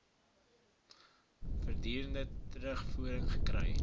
voortdurend terugvoering gekry